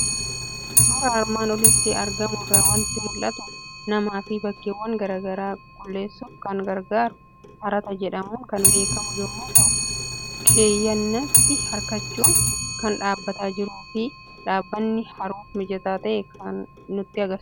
Suuraa armaan olitti argamu irraa waanti mul'atu; manaafi bakkeewwan garaagaraa qulquulleessuuf kan gargaaru Harataa jedhamuun kan beekamu yommuu ta'u, keeyyanitti hirkachuun kan dhaabbataa jiruufi dhaabatani haruuf mijataa akka ta'e kan nutti agarsiisudha.